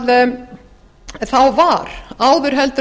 útvíkkuðu höfðuðborgarsvæði þá var áður